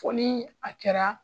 Fo ni a kɛra